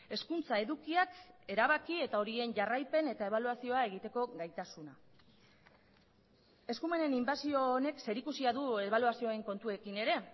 hezkuntza edukiak erabaki eta horien jarraipen eta ebaluazioa egiteko gaitasuna eskumenen inbasio honek zerikusia du ebaluazioen kontuekin ere